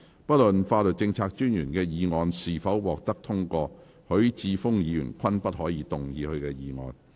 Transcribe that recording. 不論法律政策專員的議案是否獲得通過，許智峯議員均不可動議他的議案。